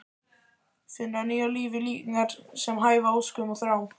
Finna nýju lífi líkingar sem hæfa óskum og þrám.